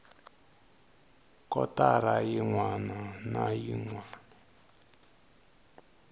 kotara yin wana na yin